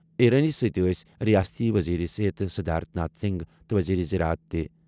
ایرانی یَس سۭتۍ یِن رِیٲستی وزیر صحت سدھارتھ ناتھ سنگھ تہٕ وزیر زراعت تہِ۔